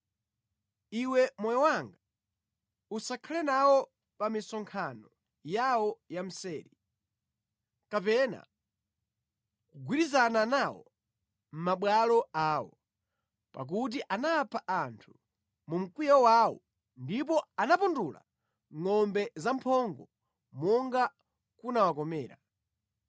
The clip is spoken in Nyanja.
Iwe moyo wanga, usakhale nawo pa misonkhano yawo ya mseri, kapena kugwirizana nawo mʼmabwalo awo, pakuti anapha anthu mu mkwiyo wawo ndipo anapundula ngʼombe zamphongo monga kunawakomera.